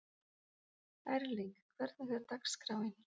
Erling, hvernig er dagskráin?